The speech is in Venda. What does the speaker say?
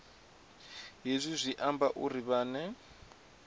hezwi zwi amba uri vhane